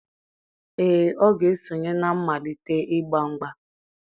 Ee, ọ ga-esonye na mmalite igba mgba.